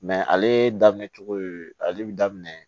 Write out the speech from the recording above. ale daminɛ cogo ale bi daminɛ